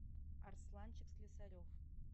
арсланчик слесарев